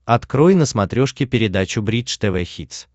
открой на смотрешке передачу бридж тв хитс